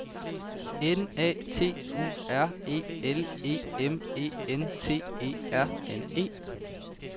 N A T U R E L E M E N T E R N E